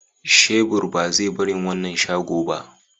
shebur ba zai barin wannan shago ba.